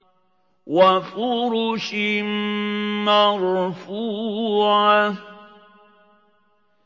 وَفُرُشٍ مَّرْفُوعَةٍ